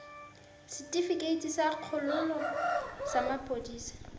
setefikeiti sa kgololo sa maphodisa